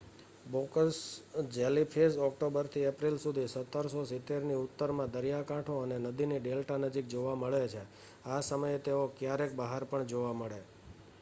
box jellyfish ઓક્ટોબરથી April સુધી 1770ની ઉત્તરમાં દરિયાકાંઠો અને નદીની ડેલ્ટા નજીક જોવા મળે છે આ સમયે તેઓ ક્યારેક બહાર પણ જોવા મળે